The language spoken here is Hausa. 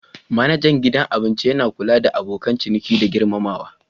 Manajan gidan abinci yana kula da abokan ciniki da girmamawa.